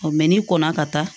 n'i kɔnna ka taa